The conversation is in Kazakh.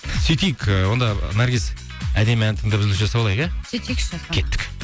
сөйтейік ыыы онда наргиз әдемі ән тыңдап үзіліс жасап алайық иә сөйтейікші кеттік